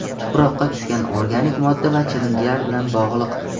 tuproqqa tushgan organik modda va chirindilar bilan bog‘liq.